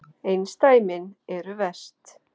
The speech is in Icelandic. Einsdæmin eru verst.